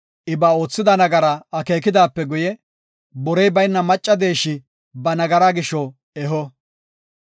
I ba oothida nagaraa akeekidaape guye borey bayna macca deeshi ba nagaraa gisho eho.